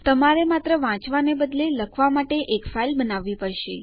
તમારે માત્ર વાંચવા ને બદલે લખવા માટે એક ફાઇલ બનાવી પડશે